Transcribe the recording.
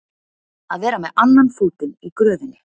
Að vera með annan fótinn í gröfinni